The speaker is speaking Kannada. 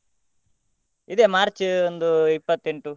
ಇದೆ March ಒಂದು ಇಪ್ಪತ್ತೆಂಟು.